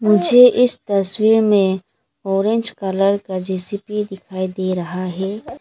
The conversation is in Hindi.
मुझे इस तस्वीर में ऑरेंज कलर का जेसीबी दिखाई दे रहा है।